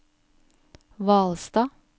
Hvalstad